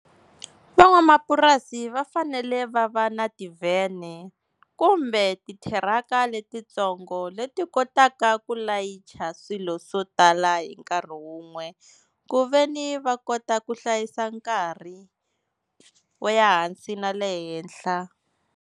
Van'wamapurasi va fanele va va na tivhene kumbe titiraka letitsongo leti kotaka ku layicha swilo swo tala hi nkarhi wun'we, ku veni va kota ku hlayisa nkarhi wo ya hansi na le henhla.